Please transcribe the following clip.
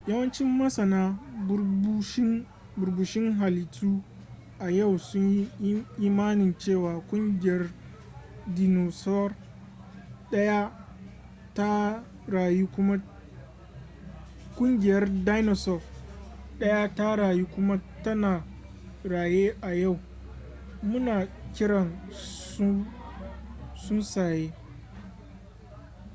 yawancin masana burbushin halittu a yau sunyi imanin cewa ƙungiyar dinosaur daya ta rayu kuma tana raye a yau muna kiran su tsuntsaye